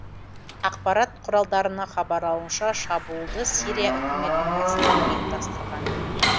ақпарат құралдарына хабарлауынша шабуылды сирия үкіметінің әскері ұйымдастырған